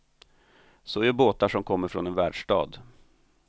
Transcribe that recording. Så gör båtar som kommer från en världsstad.